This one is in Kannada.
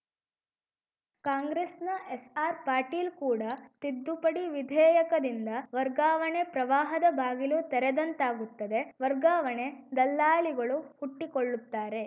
ಕಾಂಗ್ರೆಸ್‌ನ ಎಸ್‌ಆರ್‌ ಪಾಟೀಲ್‌ ಕೂಡ ತಿದ್ದುಪಡಿ ವಿಧೇಯಕದಿಂದ ವರ್ಗಾವಣೆ ಪ್ರವಾಹದ ಬಾಗಿಲು ತೆರೆದಂತಾಗುತ್ತದೆ ವರ್ಗಾವಣೆ ದಲ್ಲಾಳಿಗಳು ಹುಟ್ಟಿಕೊಳ್ಳುತ್ತಾರೆ